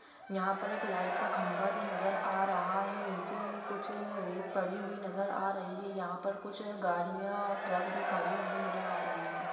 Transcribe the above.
यहा पर एक लाइट का खम्बा भी नज़र आ रहा है नीचे कुछ रेत पड़ी हुई नज़र आ रही है यहा पर कुछ गाड़ियाँ ट्रक भी खड़े हुए नज़र आ रहे है ।